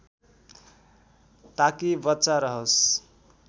ताकि बच्चा रहोस्